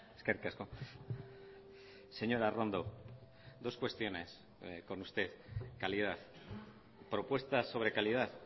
eskerrik asko señora arrondo dos cuestiones con usted calidad propuestas sobre calidad